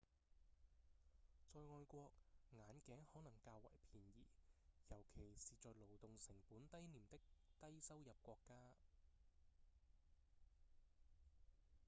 在外國眼鏡可能較為便宜尤其是在勞動成本低廉的低收入國家